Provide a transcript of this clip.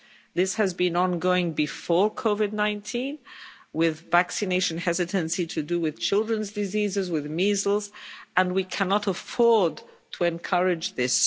This has been ongoing before COVID-19 with vaccination hesitancy to do with children's diseases, with measles, and we cannot afford to encourage this.